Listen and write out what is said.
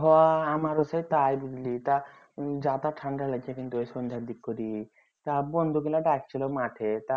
হ আমারো সেই তাই বুঝলি তা যার তার ঠান্ডা লাগছে কিন্তু সন্ধ্যা দিগ করি ডাকছিলো মাঠে তা